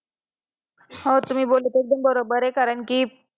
हा तुम्ही जे बोलत आहे ते पण बरोबर आहे कारण कि